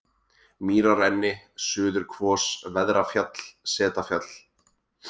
Mýrarenni, Suðurkvos, Veðrafjall, Setafjall